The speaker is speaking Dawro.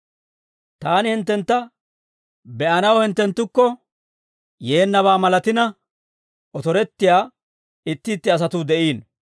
Taani hinttentta be'anaw hinttenttukko yeennabaa malatina, otorettiyaa itti itti asatuu de'iino.